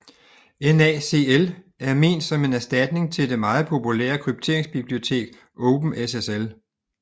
NaCl er ment som en erstatning til det meget populære krypteringsbibliotek OpenSSL